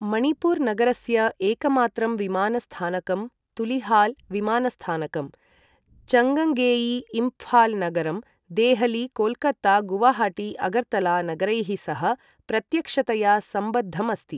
मणिपुर नगरस्य एकमात्रं विमानस्थानकं तुलिहाल् विमानस्थानकं, चङ्गङ्गेई, इम्फाल् नगरं देहली कोलकाता गुवाहाटी अगरतला नगरैः सह प्रत्यक्षतया सम्बद्धम् अस्ति ।